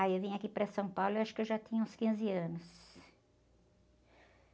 Aí eu vim aqui para São Paulo, eu acho que eu já tinha uns quinze anos.